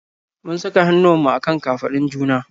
Mun saka hannuwanmu a kan kafadun juna.